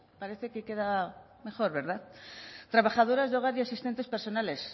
parece que queda mejor verdad trabajadoras de hogar y asistentes personales